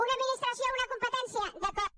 una administració una competència d’acord